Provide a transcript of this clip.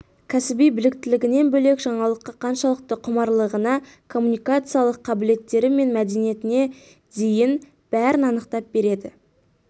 кәсіби біліктілігінен бөлек жаңалыққа қаншалықты құмарлығына комуникациялық қабілеттері мен мәдениетіне дейін бәрін анықтап береді